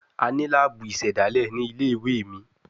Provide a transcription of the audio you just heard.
A ni laabu isedale ni ile-iwe mi